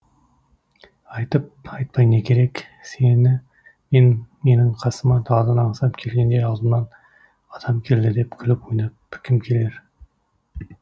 айтып айтпай не керек сені мен менің қасыма даладан аңсап келгенде алдымнан атам келді деп күліп ойнап кім келер